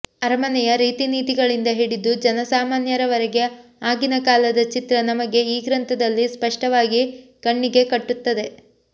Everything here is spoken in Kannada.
ಅರಮನೆಯ ರೀತಿನೀತಿಗಳಿಂದ ಹಿಡಿದು ಜನಸಾಮಾನ್ಯರವರೆಗೆ ಆಗಿನ ಕಾಲದ ಚಿತ್ರ ನಮಗೆ ಈ ಗ್ರಂಥದಲ್ಲಿ ಸ್ಪಷ್ಟವಾಗಿ ಕಣ್ಣಿಗೆ ಕಟ್ಟುತ್ತದೆ